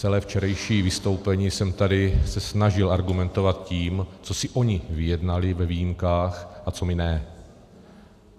Celé včerejší vystoupení jsem se tady snažil argumentovat tím, co si oni vyjednali ve výjimkách a co my ne.